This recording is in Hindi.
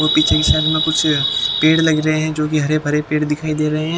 पीछे की साइड में कुछ पेड़ लग रहे हैं जो कि हरे भरे पेड़ दिखाई दे रहे हैं।